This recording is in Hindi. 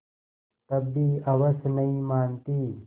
तब भी हवस नहीं मानती